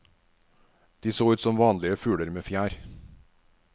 De så ut som vanlige fugler med fjær.